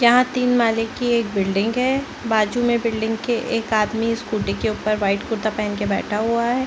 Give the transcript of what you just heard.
यहाँ तीन माले की एक बिल्डिंग है बाजू में बिल्डिंग के एक आदमी स्कूटी के ऊपर वाइट कुर्ता पहन के बैठा हुआ है।